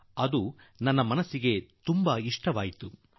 ಅದು ನನ್ನ ಮನಸ್ಸಿಗೆ ನಾಟಿಬಿಟ್ಟಿದೆ